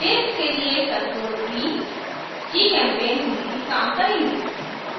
paste के लिए ctrl + v gchempaint में भी काम करेंगे